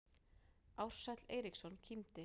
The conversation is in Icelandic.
Ársæll Eiríksson kímdi.